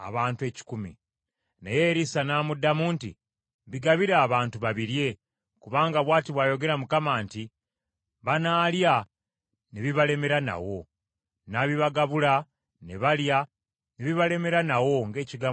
Naye Erisa n’amuddamu nti, “Bigabire abantu babirye, kubanga bw’ati bw’ayogera Mukama nti, ‘Banaalya ne bibalemeranawo.’ ” N’abibagabula, ne balya, ne bibalemeranawo, ng’ekigambo kya Mukama bwe kyali.